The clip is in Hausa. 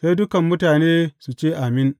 Sai dukan mutane su ce, Amin!